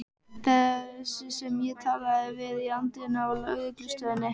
Þessi sem ég talaði við í anddyrinu á lögreglustöðinni.